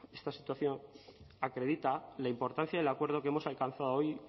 esta situación acredita la importancia del acuerdo que hemos alcanzado hoy